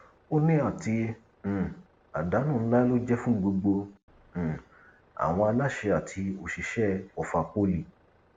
ó ní àti um àdánù ńlá ló jẹ fún gbogbo um àwọn aláṣẹ àti òṣìṣẹ ọfà poli